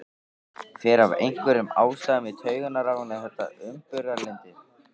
Fer af einhverjum ástæðum í taugarnar á henni þetta umburðarlyndi.